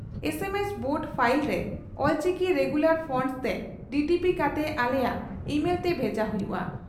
ᱮᱢ S Word file ᱨᱮ Ol Chiki regular fonts ᱛᱮ DTP ᱠᱟᱛᱮ ᱟᱞᱮᱭᱟᱜ ᱤᱢᱮᱞᱛᱮ ᱵᱷᱮᱡᱟ ᱦᱩᱭᱩᱜᱼᱟ ᱾